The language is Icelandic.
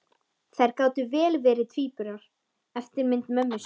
Þær gátu vel verið tvíburar, eftirmyndir mömmu sinnar.